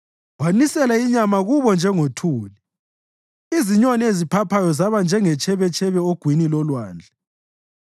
Wanisela inyama kubo njengothuli, izinyoni eziphaphayo zaba njengetshebetshebe ogwini lolwandle.